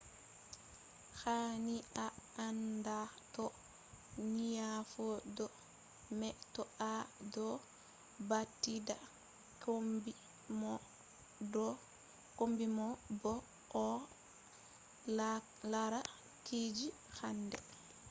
hani a anda to nyauɗo mai to a do badita kombi mo bo a lara kuje handai